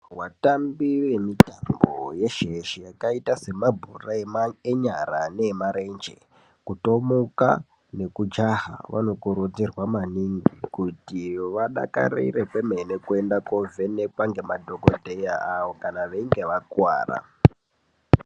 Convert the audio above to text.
Vatambi vemitambo yeshe-yeshe yakaita semabhora enyara neemarenje, kutomuka nekujaha. Vanokurudzirwa maningi kuti vadakarire kwemene kuende kovhenekwa ngemadhogodhleya avo kana veinga vakuvara.